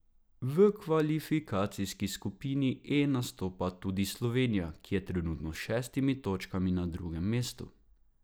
V kvalifikacijski skupini E nastopa tudi Slovenija, ki je trenutno s šestimi točkami na drugem mestu.